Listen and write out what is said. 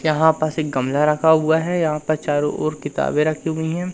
यहां पास एक गमला रखा हुआ है। यहां पर चारों ओर किताबे रखी हुई है।